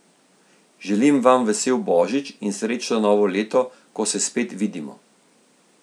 Želim vam vesel božič in srečno novo leto, ko se spet vidimo.